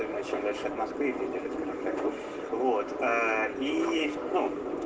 аа